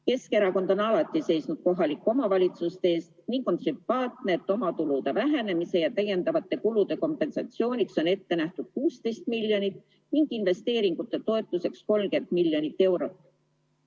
Keskerakond on alati seisnud kohalike omavalitsuste eest ning on sümpaatne, et omatulude vähenemise ja täiendavate kulude kompensatsiooniks on ette nähtud 16 miljonit ning investeeringute toetuseks 30 miljonit eurot.